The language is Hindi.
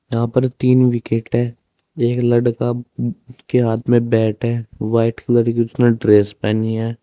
यहां पर तीन विकेट है एक लड़का के हाथ में बैट है वाइट कलर की उसने ड्रेस पहनी है।